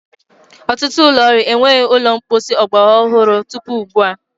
Ọtụtụ ụlọ ọrụ enweghị ụlọ mposi ọgbara ọhụrụ tupu ugbu a.